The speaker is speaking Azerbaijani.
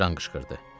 Jan qışqırdı.